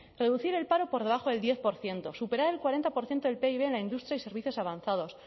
reducir el paro por debajo del diez por ciento superar el cuarenta por ciento del pib en la industria y servicios avanzados